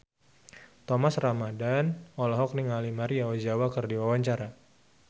Thomas Ramdhan olohok ningali Maria Ozawa keur diwawancara